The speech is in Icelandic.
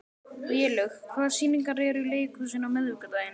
Vélaug, hvaða sýningar eru í leikhúsinu á miðvikudaginn?